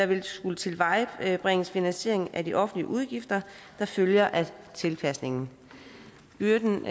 der skulle tilvejebringes finansiering af de offentlige udgifter der følger af tilpasningen byrden